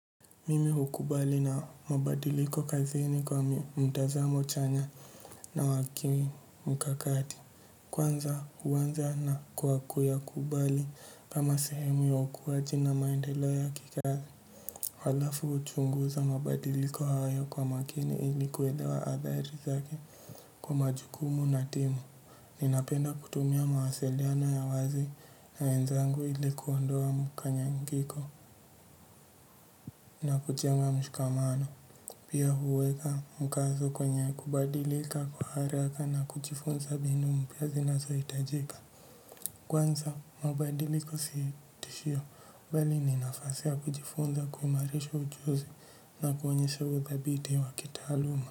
Mimi hukubali na mabadiliko kazini kwani mtazamo chanya na wakini mkakati. Kwanza huwanza na kuyakubali kama sehemu ya hukuwaji na maendeo ya kikazi. Halafu chunguza mabadiliko hayo kwa makini ilikuwelewa adhari zake kwa majukumu na timu. Ninapenda kutumia mawasiliano ya wazi na wenzangu ili kuondoa mkanyangiko na kujenga mshikamano. Pia huweka mkazo kwenye kubadilika kwa haraka na kuchifunza mbinu mpya zinazo hitajika. Kwanza mabadiliko sii tishio bali ninafasi ya kujifunza kuhimarisha ujuzi na kuonyesha uthabiti wa kitaluma.